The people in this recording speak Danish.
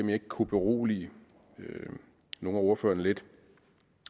jeg ikke kunne berolige nogle af ordførerne lidt